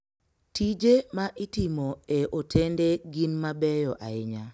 Tije ma itimo e otende gin ma beyo ahinya.